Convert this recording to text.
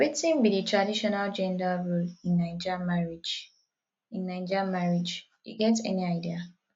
wetin be di traditional gender role in naija marriage in naija marriage you get any idea